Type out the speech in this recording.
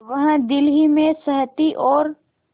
वह दिल ही में सहती और